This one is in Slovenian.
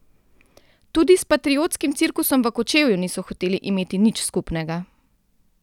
Tudi s patriotskim cirkusom v Kočevju niso hoteli imeti nič skupnega.